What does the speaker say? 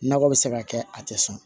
Nakɔ bɛ se ka kɛ a tɛ sɔn